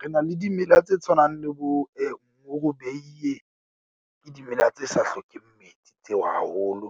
Re na le dimela tse tshwanang le bo morobeiye ke dimela tse sa hlokeng metsi, tseo haholo.